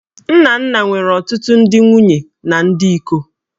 Nnanna nwere ọtụtụ ndị nwunye na ndị iko